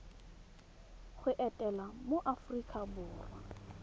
go etela mo aforika borwa